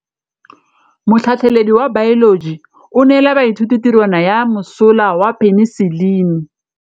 Motlhatlhaledi wa baeloji o neela baithuti tirwana ya mosola wa peniselene.